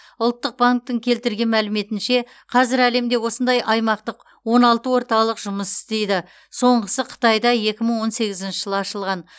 ұлттық банктің келтірген мәліметінше қазір әлемде осындай аймақтық он алты орталық жұмыс істейді соңғысы қытайда екі мың он сегізінші жылы ашылған